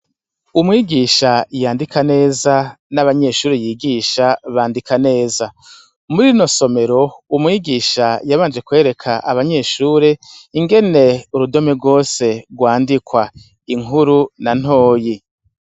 Umwigisha yandika neza, n'abanyeshure yigisha bandika neza. Muri rino somero umwigisha yabanje kwereka abanyeshure ingene urudome rwose rwandikwa, inkuru na ntoyi.